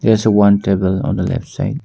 There is a one table on the left side.